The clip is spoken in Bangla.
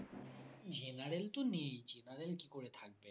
general তো নেই general কি করে থাকবে